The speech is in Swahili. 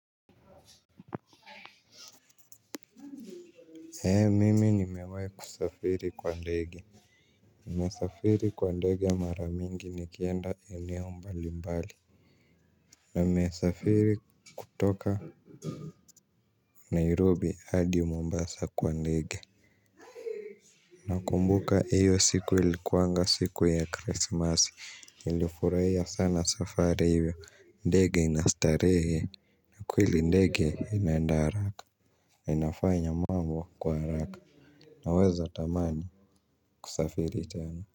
Eee mimi nimewahi kusafiri kwa ndege nimesafiri kwa ndege mara mingi nikienda eneo mbalimbali. Namesafiri kutoka nairobi hadi mombasa kwa ndege. Nakumbuka iyo siku ilikuwanga siku ya krismasi nilifurahia sana safari hiyo ndege ina starehe. Kweli ndege inaenda haraka na inafanya mambo kwa haraka naweza tamani kusafiri tena.